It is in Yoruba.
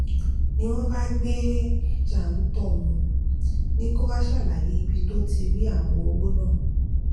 ni wọn bá gbé e jàńtọ wọn ni kó wàá ṣàlàyé ibi tó ti rí àwọn owó náà